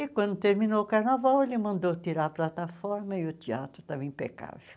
E quando terminou o carnaval, ele mandou tirar a plataforma e o teatro estava impecável.